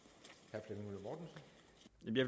jeg